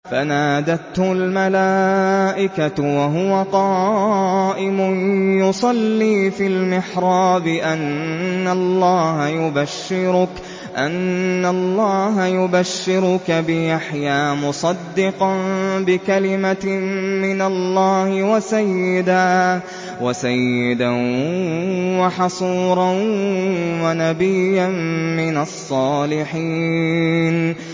فَنَادَتْهُ الْمَلَائِكَةُ وَهُوَ قَائِمٌ يُصَلِّي فِي الْمِحْرَابِ أَنَّ اللَّهَ يُبَشِّرُكَ بِيَحْيَىٰ مُصَدِّقًا بِكَلِمَةٍ مِّنَ اللَّهِ وَسَيِّدًا وَحَصُورًا وَنَبِيًّا مِّنَ الصَّالِحِينَ